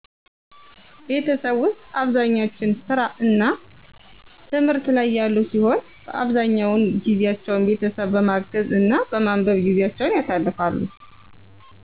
ቤተሠብ ውስጥ አብዛኛች ሥራ እና ትምህት ላይ ያሉ ሲሆን አብዛኛውን ጊዜቸውን ቤተሠብ በማገዝ እና በማንበብ ጊዜቸውን ያሳልፍሉ